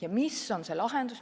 Ja mis võiks olla lahendus?